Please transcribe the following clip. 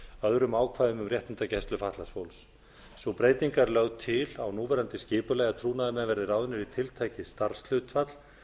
öðrum ákvæðum um réttindagæslu fatlaðs fólks sú breyting er lögð til á núverandi skipulagi að trúnaðarmenn verði ráðnir í tiltekið starfshlutfall